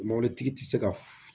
Mɔbilitigi ti se ka